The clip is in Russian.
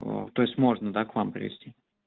то есть можно да к вам привезти